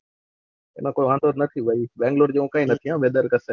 તને કઈ વાંધો જ નથી બહિ ભાઈ બેંગ્લોર જેવો કઈ નથી વેધર કસે